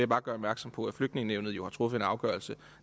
bare gøre opmærksom på at flygtningenævnet jo har truffet en afgørelse